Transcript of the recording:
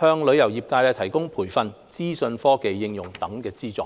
向旅遊業界提供培訓、資訊科技應用等方面的資助。